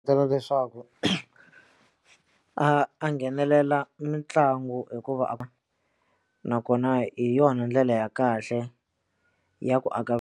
Byela leswaku a nghenelela mitlangu hikuva nakona hi yona ndlela ya kahle ya ku aka .